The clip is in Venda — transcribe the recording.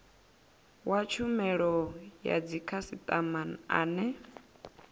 wa tshumelo ya dzikhasitama ane